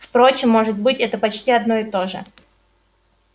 впрочем может быть это почти одно и то же